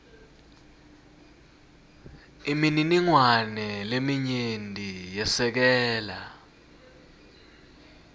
imininingwane leminyenti yesekela